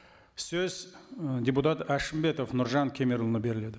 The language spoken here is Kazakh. сөз ы депутат әшімбетов нұржан кемерұлына беріледі